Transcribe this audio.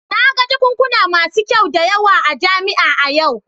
Na ga jakunkuna masu kyau da yawa a jami'a a yau